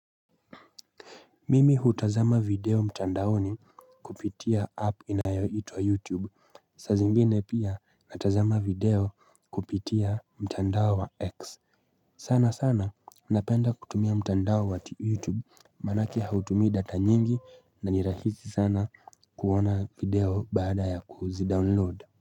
Mimi hutazama video mtandaoni kupitia app inayoitwa youtube saa zingine pia natazama video kupitia mtandao wa x sana sana napenda kutumia mtandao wa youtube manake hautumii data nyingi na nirahisi sana kuona video baada ya kuzidownload.